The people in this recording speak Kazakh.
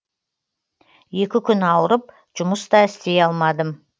екі күн ауырып жұмыс та істей алмадым